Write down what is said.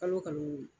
Kalo kalo kalo wɔ